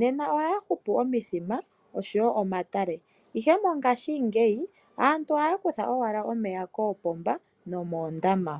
nena oha ya hupu omithima oshowo omatale ihe mongashingeya aantu oha ya kutha owala omeya moopomba nomoondama.